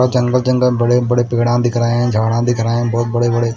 और जंगल-जंगल बड़े-बड़े पेड़ा दिख रहे है झाड़ा दिख रहे हैं बहुत बड़े-बड़े--